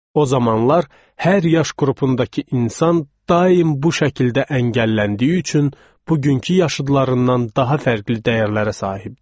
O zamanlar hər yaş qrupundakı insan daim bu şəkildə əngəlləndiyi üçün bugünkü yaşıdlarından daha fərqli dəyərlərə sahibdir.